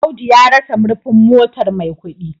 Audu ya rasa murfin motar Maikudi